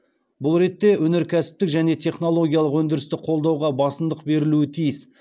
бұл ретте өнеркәсіптік және технологиялық өндірісті қолдауға басымдық берілуі тиіс